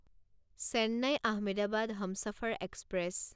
Chennai Ahmedabad Humsafar express